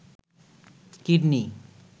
kidney